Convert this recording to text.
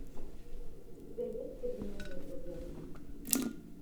у тебя есть современные проблемы